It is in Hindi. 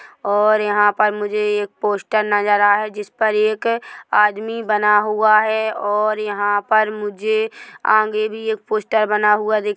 और यहाँ पर मुझे एक पोस्टर नज़र आ रहा है जिस पर एक आदमी बना हुआ है और यहाँ पर मुझे आगें भी एक पोस्टर बना हुआ दिख--